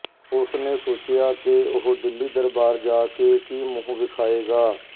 ਉਸ ਨੇ ਸੋਚਿਆ ਕਿ ਉਹ ਦਿੱਲੀ ਦਰਬਾਰ ਜਾ ਕੇ ਕੀ ਮੂੰਹ ਵਿਖਾਏਗਾ